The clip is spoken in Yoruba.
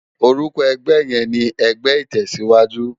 Òrúkò ègbè yèn ni ègbè itèsiwájú